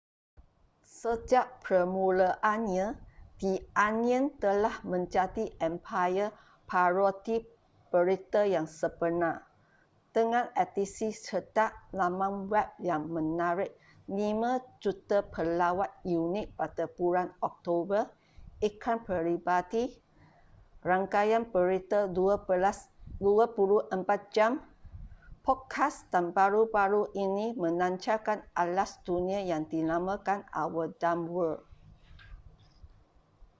sejak permulaannya the onion telah menjadi empayar parodi berita yang sebenar dengan edisi cetak laman web yang menarik 5,000,000 pelawat unik pada bulan oktober iklan peribadi rangkaian berita 24 jam podcast dan baru-baru ini melancarkan atlas dunia yang dinamakan our dumb world